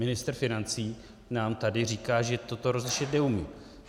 Ministr financí nám tady říká, že toto rozlišit neumí.